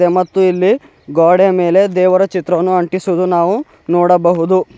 ಮತ್ತು ಇಲ್ಲಿ ಗೋಡೆಯ ಮೇಲೆ ದೇವರ ಚಿತ್ರವನ್ನು ಅಂಟಿಸಿರುವುದು ನಾವು ನೋಡಬಹುದು.